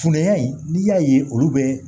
Funanya in n'i y'a ye olu bɛ